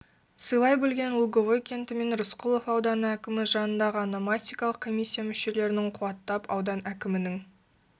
сыйлай білген луговой кенті мен рысқұлов ауданы әкімі жанындағы ономастикалық комиссия мушелерінің қуаттап аудан әкімінің